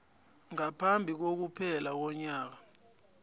ngaphambi kokuphela konyaka